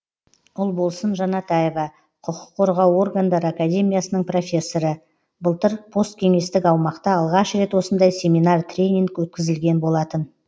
ұлболсын жанатаева құқық қорғау органдары академиясының профессоры былтыр посткеңестік аумақта алғаш рет осындай семинар тренинг өткізілген болатын